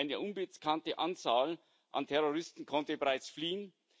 Eine unbekannte Anzahl an Terroristen konnte bereits fliehen.